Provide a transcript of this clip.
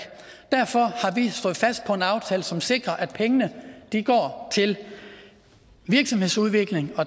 derfor har vi stået fast på en aftale som sikrer at pengene går til virksomhedsudvikling